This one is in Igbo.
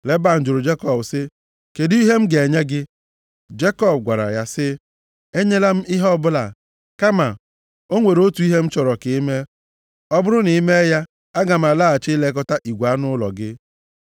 Leban jụrụ Jekọb sị, “Kedụ ihe m ga-enye gị?” Jekọb gwara ya sị, “Enyela m ihe ọbụla, kama o nwere otu ihe m chọrọ ka i mee. Ọ bụrụ na i mee ya, aga m alaghachi ilekọta igwe anụ ụlọ gị.